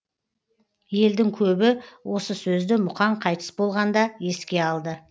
елдің көбі осы сөзді мұқаң қайтыс болғанда еске алды